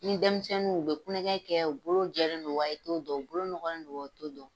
Ni denmisɛnninw u bɛ kulonkɛ kɛ, u bolo jɛlen don wa, e t'o dɔn, u bolo ɲɔgɔlen don wa , e t'o dɔn.